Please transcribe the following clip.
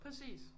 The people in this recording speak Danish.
Præcis